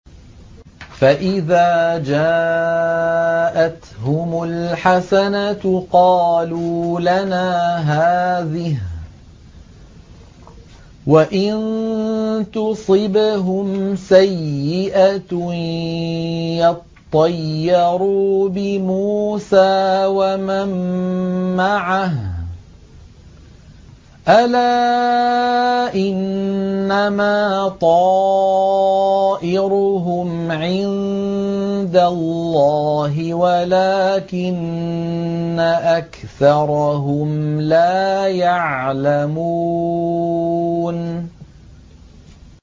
فَإِذَا جَاءَتْهُمُ الْحَسَنَةُ قَالُوا لَنَا هَٰذِهِ ۖ وَإِن تُصِبْهُمْ سَيِّئَةٌ يَطَّيَّرُوا بِمُوسَىٰ وَمَن مَّعَهُ ۗ أَلَا إِنَّمَا طَائِرُهُمْ عِندَ اللَّهِ وَلَٰكِنَّ أَكْثَرَهُمْ لَا يَعْلَمُونَ